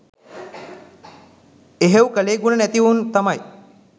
එහෙව් කෙලෙහිගුණ නැතිඑවුන් තමයි